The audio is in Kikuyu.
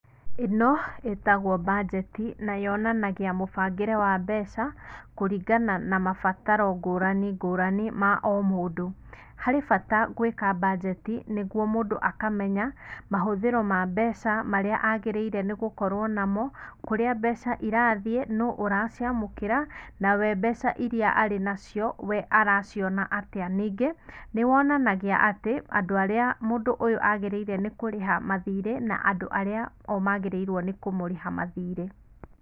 Ĩno ĩtagwo mbanjeti, na yonanagia mũbangĩre wa mbeca, kũringana na mabataro ngũrani ngũrani, ma o mũndũ. Harĩ bata gwĩka mbanjeti nĩguo mũndũ akamenya mahũthĩro ma mbeca marĩa agĩrĩire nĩ gũkorwo namo, kũrĩa mbeca irathiĩ, nũ ũraciamũkĩra, na we mbeca iria arĩ nacio, we araciona atĩa. Ningĩ, nĩ wonanagia atĩ andũ arĩa mũndũ ũyũ aagĩrĩire kũrĩha mathirĩ, na andũ arĩa o maagĩrĩirwo nĩ kũmũrĩha mathirĩ.